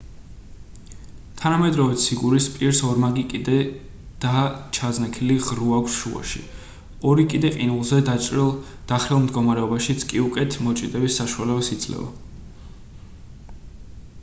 თანამედროვე ციგურის პირს ორმაგი კიდე და ჩაზნექილი ღრუ აქვს შუაში ორი კიდე ყინულზე დახრილ მდგომარეობაშიც კი უკეთ მოჭიდების საშუალებას იძლევა